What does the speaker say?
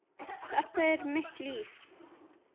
Þetta er mitt líf.